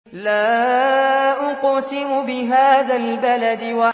لَا أُقْسِمُ بِهَٰذَا الْبَلَدِ